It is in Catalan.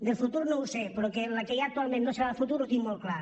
del futur no ho sé però que la que hi ha actualment no serà la del futur ho tinc molt clar